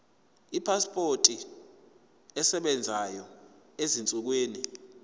ipasipoti esebenzayo ezinsukwini